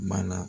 Mana